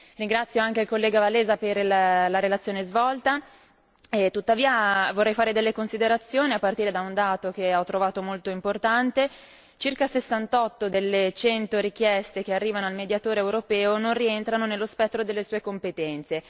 Ringrazio anche il collega Wałęsa per la relazione svolta, tuttavia vorrei fare delle considerazioni a partire da un dato che ho trovato molto importante circa 68 delle 100 richieste che arrivano al Mediatore europeo non rientrano nello spettro delle sue competenze.